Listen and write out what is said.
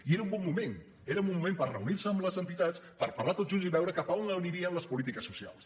i era un bon moment era un bon moment per reunir se amb les entitats per parlar tots junts i veure cap a on anirien les polítiques socials